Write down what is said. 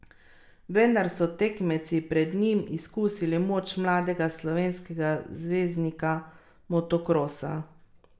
Vendar so tekmeci pred njim izkusili moč mladega slovenskega zvezdnika motokrosa.